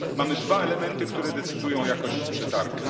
Mamy dwa elementy, które decydują o jakości przetargu.